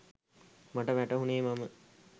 මට වැටහුනේ ම නෑ.